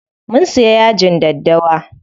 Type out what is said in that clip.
Mun siya yajin daddawa.